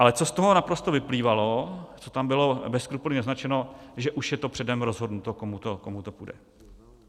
Ale co z toho naprosto vyplývalo, co tam bylo bez skrupulí naznačeno, že už je to předem rozhodnuto, komu to půjde.